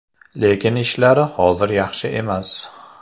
Lekin ishlari hozir yaxshi emas.